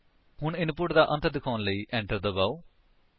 ਹੁਣ ਇਨਪੁਟ ਦਾ ਅੰਤ ਦਿਖਾਉਣ ਲਈ enter ਦਬਾਓ